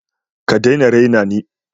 ka dai na rena ni.